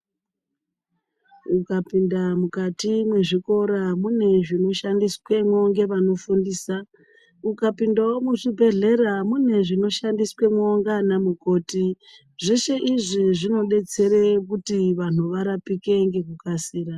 Ukapinda mukati mwezvikora mune zvinoshandiswemwo ngevanofundisa. Ukapindawo muzvibhedhlera mune zvinoshandiswemwo ndianamukoti. Zveshe izvi zvinodetsere kuti vanhu varapike ngekukasira.